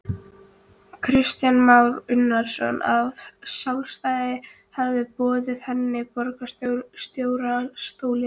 Kristján Már Unnarsson: Að sjálfstæðismenn hafi boðið henni borgarstjórastólinn?